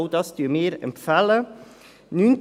Auch dies empfehlen wir.